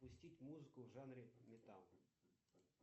запустить музыку в жанре металл